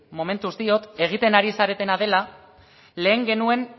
momentuz diot egiten ari zaretena dela lehen genuen